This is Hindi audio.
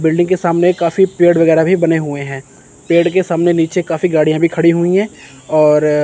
बिल्डिंग के सामने काफी पेड़ वगैर भी बने हुए हैं पेड़ के सामने नीचे काफी गाड़ियां भी खड़ी हुई हैं और--